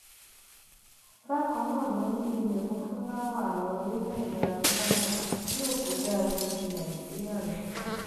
bákan náà ló ní ìyẹfun fúláwá àwọn orílẹèdè adúláwò yòókù dáa ju ti nàìjíríà lọ